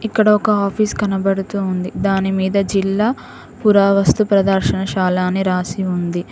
ఇక్కడ ఒక ఆఫీస్ కనబడుతూ ఉంది దానిమీద జిల్లా పురావస్తు ప్రదర్శనశాల అని రాసి ఉంది.